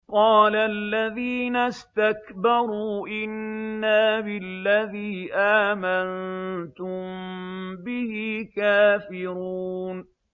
قَالَ الَّذِينَ اسْتَكْبَرُوا إِنَّا بِالَّذِي آمَنتُم بِهِ كَافِرُونَ